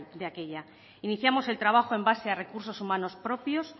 de aquella iniciamos el trabajo en base a recursos humanos propios